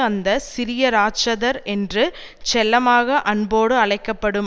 அந்த சிறிய ராட்சதர் என்று செல்லமாக அன்போடு அழைக்க படும்